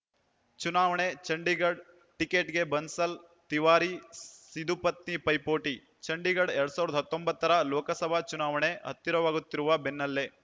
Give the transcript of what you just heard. ಚುನಾವಣೆ ಚಂಡೀಗಢ ಟಿಕೆಟ್‌ಗೆ ಬನ್ಸಲ್‌ ತಿವಾರಿ ಸಿಧು ಪತ್ನಿ ಪೈಪೋಟಿ ಚಂಡೀಗಢ ಎರಡ್ ಸಾವಿರದ ಹತ್ತೊಂಬತ್ತರ ಲೋಕಸಭಾ ಚುನಾವಣೆ ಹತ್ತಿರವಾಗುತ್ತಿರುವ ಬೆನ್ನಲ್ಲೇ